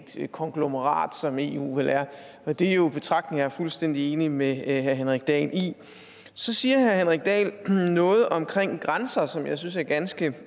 et konglomerat som eu vel er og det er jo betragtninger er fuldstændig enig med herre henrik dahl i så siger herre henrik dahl noget om grænser grænser som jeg synes er ganske